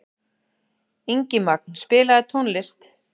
Ingimagn, spilaðu tónlist.